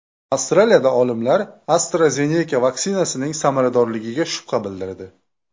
Avstraliyada olimlar AstraZeneca vaksinasining samaradorligiga shubha bildirdi.